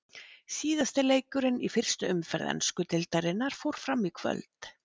Síðasti leikurinn í fyrstu umferð ensku deildarinnar fór fram í kvöld.